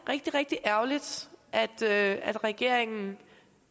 rigtig rigtig ærgerligt at at regeringen